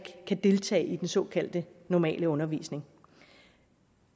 deltage i den såkaldte normale undervisning